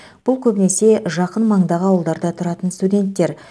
бұл көбінесе жақын маңдағы ауылдарда тұратын студенттер